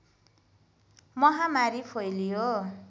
महामारी फैलियो